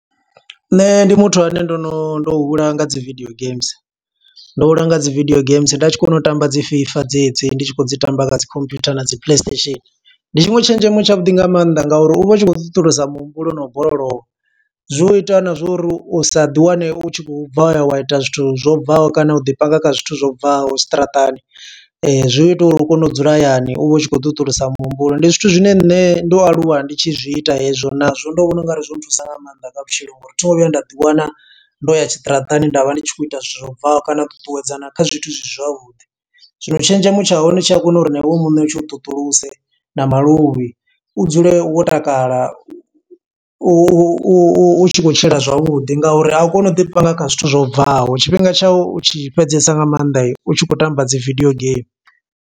Nṋe ndi muthu ane ndo no, ndo hula nga dzi video games. Ndo hula nga dzi video games, nda tshi kona u tamba dzi FIFA dze dzi. Ndi tshi khou dzi tamba nga dzi computer na dzi play station. Ndi tshiṅwe tshenzhemo tshavhuḓi nga maanḓa nga uri u vha u tshi kho ṱuṱulisa muhumbulo no u borolowa. Zwi u ita na zwo uri u sa ḓi wane u tshi khou bva wa ya wa ita zwithu zwo bvaho, kana u ḓi panga kha zwithu zwo bvaho zwiṱaraṱani. Zwi ita uri u kone u dzula hayani, u vha u tshi khou ṱuṱulasa muhumbulo, Ndi zwithu zwine nṋe ndo aluwa ndi tshi zwi ita hezwo, na zwo ndo vhona ungari zwo nthusa nga maanḓa nga vhutshilo, Ngo uri thi ngo vhuya nda ḓi wana ndo ya tshiṱaratani, nda vha ndi tshi khou ita zwithu zwo bvaho kana u ṱuṱuwedzana kha zwithu zwi si zwavhuḓi. Zwino tshenzhemo tsha hone tshi a kona uri na iwe muṋe tshi u ṱuṱulase na maluvhi, u dzule wo takala. U u u tshi khou tshila zwavhuḓi nga uri a u koni u ḓi panga kha zwithu zwo bvaho, tshifhinga tshau u tshi fhedzesa nga maanḓa, u tshi khou tamba dzi video game.